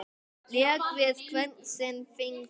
Lék við hvern sinn fingur.